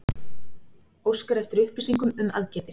Óskar eftir upplýsingum um aðgerðir